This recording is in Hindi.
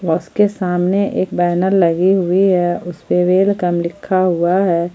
उसके सामने एक बैनर लगी हुई है उसपे वेलकम लिखा हुआ है।